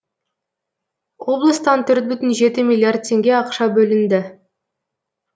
облыстан төрт бүтін жеті милиллиард теңге ақша бөлінді